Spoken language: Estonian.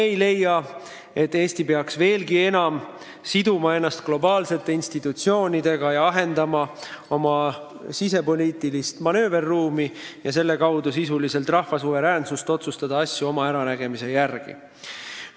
Me ei leia, et Eesti peaks veelgi enam siduma ennast globaalsete institutsioonidega ja ahendama oma sisepoliitilist manööverruumi, vähendades selle kaudu sisuliselt rahva suveräänsust otsustada asju oma äranägemise järgi.